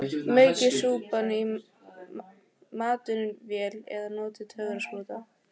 Maukið súpuna í matvinnsluvél eða notið töfrasprota.